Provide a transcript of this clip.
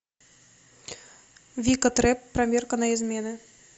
вика трэп проверка на измены